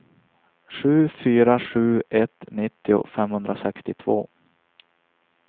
sju fyra sju ett nittio femhundrasextiotvå